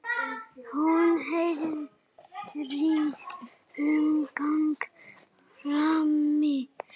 Hún heyrir umgang frammi.